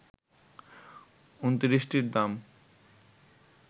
২৯টির দাম